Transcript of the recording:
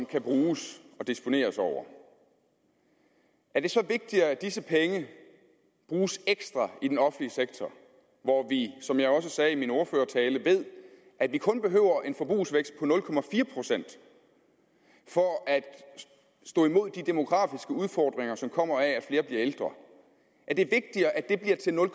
kan bruges og disponeres over er det så vigtigere at disse penge bruges ekstra i den offentlige sektor hvor vi som jeg også sagde i min ordførertale ved at vi kun behøver en forbrugsvækst på nul procent for at stå imod de demografiske udfordringer som kommer af at flere bliver ældre er det vigtigere at det bliver til nul